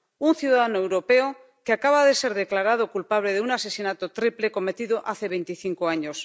Un ciudadano europeo que acaba de ser declarado culpable de un asesinato triple cometido hace veinticinco años.